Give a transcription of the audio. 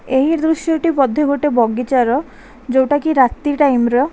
ଏହି ଦୃସ୍ୟ ଟି ବୋଧେ ଗୋଟେ ବଗିଚାର ଜଉଟା କି ରାତି ଟାଇମ ର।